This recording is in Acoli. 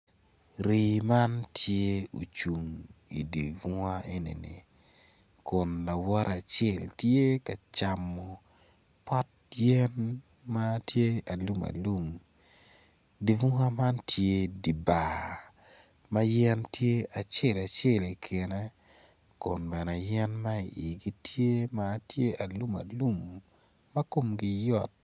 Rii man tye ocung idye bunga enini kun lawote acel tye ka camo pot yen ma tye alumalum dye bunga man tye i dye bar yen ma iye tye acel acel komgi tye alum alum ma kmgi yot.